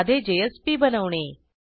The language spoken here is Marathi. साधे जेएसपी बनवणे